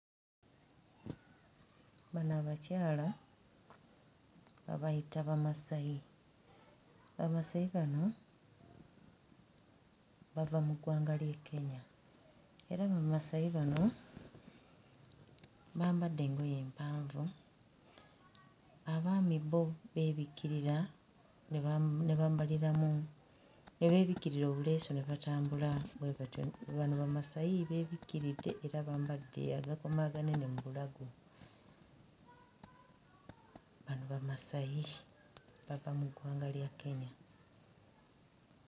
Bano abakyala babayita Bamasayi, Bamasayi bano bava mu ggwanga ly'e Kenya era Bamasayi bano bambadde engoye mpanvu, abaami bo beebikkirira ne bam ne babambaliramu ne beebikkirira obuleesu ne batambula bwe batyo, Bano bamasayi beebikkiridde era bambadde agakomo aganene mu bulago. Bano Bamasayi bava mu ggwanga lya Kenya.